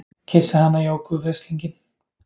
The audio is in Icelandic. Kyssa hana Jóku veslinginn!